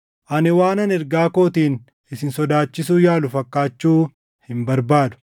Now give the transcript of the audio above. Ani waanan ergaa kootiin isin sodaachisuu yaalu fakkaachuu hin barbaadu.